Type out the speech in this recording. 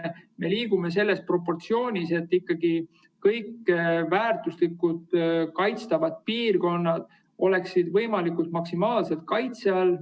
Me liigume edasi, pidades silmas seda proportsiooni, et ikkagi kõik väärtuslikud kaitstavad piirkonnad oleksid võimalikult maksimaalse kaitse all.